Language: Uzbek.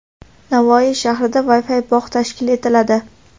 Navoiy shahrida Wi-Fi bog‘ tashkil etiladi.